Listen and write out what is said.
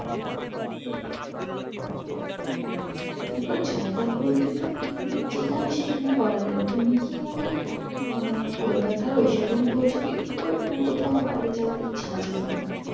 দেখো জায়গা বলতে তো picnic যেখানে সেখানে করা যাই তুমি কি মানে আহ কলকাতার ওই side এ কি বলছো picnic করবে না কোথাও বাইরে যাওয়ার ইচ্ছে আছে তোমার